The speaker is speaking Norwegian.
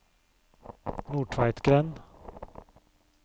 Nordtveitgrend